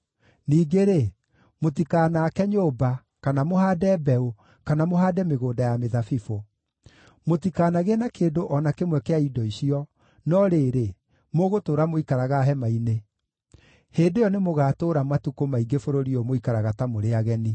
Ningĩ-rĩ, mũtikanaake nyũmba, kana mũhaande mbeũ, kana mũhaande mĩgũnda ya mĩthabibũ; mũtikanagĩe na kĩndũ o na kĩmwe kĩa indo icio, no rĩrĩ, mũgũtũũra mũikaraga hema-inĩ. Hĩndĩ ĩyo nĩmũgatũũra matukũ maingĩ bũrũri ũyũ mũikaraga ta mũrĩ ageni.’